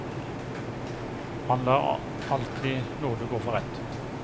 Han lar alltid nåde gå for rett.